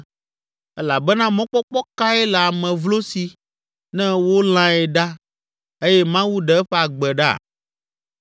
Elabena mɔkpɔkpɔ kae le ame vlo si ne wolãe ɖa eye Mawu ɖe eƒe agbe ɖa?